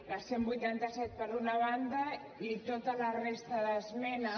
la cent i vuitanta set per una banda i tota la resta d’esmenes